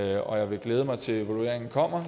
jeg vil glæde mig til evalueringen kommer